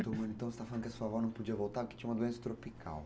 Então, você está falando que a sua avó não podia voltar porque tinha uma doença tropical.